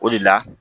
O de la